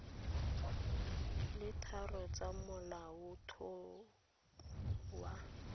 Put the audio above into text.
le tharo tsa molaotlhomo wa